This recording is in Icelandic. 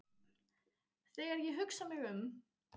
Þegar ég hugsa mig um